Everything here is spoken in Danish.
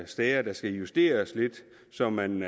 steder der skal justeres lidt så man